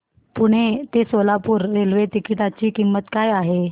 पुणे ते Solapur railway ticket ची किंमत काय आहे